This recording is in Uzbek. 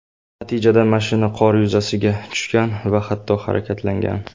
Natijada mashina qor yuzasiga tushgan va hatto harakatlangan.